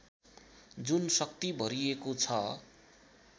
जुन शक्ति भरिएको छ